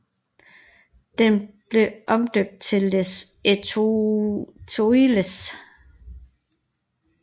Den blev omdøbt til Les Étoiles